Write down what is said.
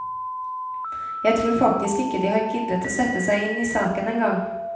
Jeg tror faktisk ikke de har giddet å sette seg inn i saken en gang.